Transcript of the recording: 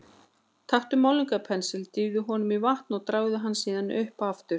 Taktu málningarpensil, dýfðu honum í vatn og dragðu hann síðan upp aftur.